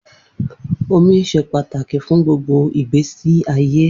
Omi ṣe pataki fun gbogbo igbesi aye.